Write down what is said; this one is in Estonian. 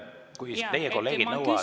Kui teie kolleegid nõuavad …